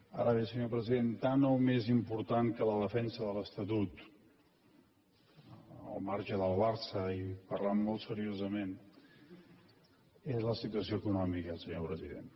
ara bé senyor president tant o més important que la defensa de l’estatut al marge del barça i parlant molt seriosament és la situació econòmica senyor president